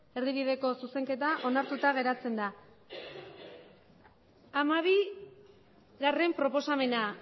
erdibideko zuzenketa onartuta geratzen da hamabigarrena proposamena